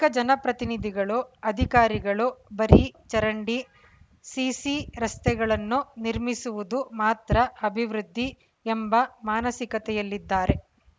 ತೇಕ ಜನಪ್ರತಿನಿಧಿಗಳು ಅಧಿಕಾರಿಗಳು ಬರೀ ಚರಂಡಿ ಸಿಸಿ ರಸ್ತೆಗಳನ್ನು ನಿರ್ಮಿಸುವುದು ಮಾತ್ರ ಅಭಿವೃದ್ಧಿ ಎಂಬ ಮಾನಸಿಕತೆಯಲ್ಲಿದ್ದಾರೆ